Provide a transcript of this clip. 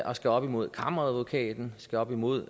og skal op imod kammeradvokaten skal op imod